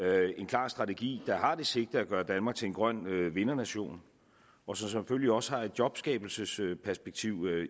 er en klar strategi der har det sigte at gøre danmark til en grøn vindernation og som selvfølgelig også har et jobskabelsesperspektiv